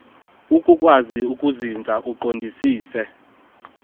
akukwazi kuzinza uqondisise